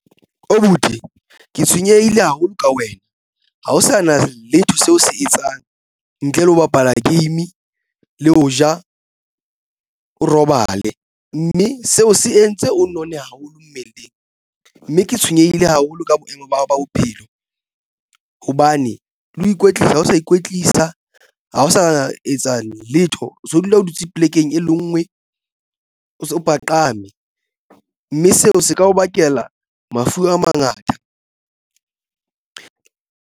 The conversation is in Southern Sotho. Abuti ke tshwenyehile haholo ka wena ha o sa na letho seo o se etsang ntle le ho bapala game le ho ja o robale mme seo se entse o nonne haholo mmeleng mme ke tshwenyehile haholo ka boemo ba hao ba bophelo hobane le ho ikwetlisa ho ikwetlisa ha o sa etsa letho o so o dula o dutse polekeng e le ngwe o paqame mme seo se ka o bakela mafu a mangata.